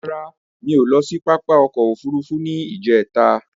Rara, mi o lọ sí pápá òkò òfúrùfú ní ijẹ̀ta